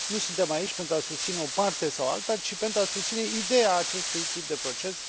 Nu suntem aici pentru a susține o parte sau alta, ci pentru a susține ideea acestui tip de proces.